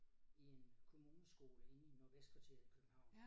I en kommuneskole inde i Nordvestkvarteret i København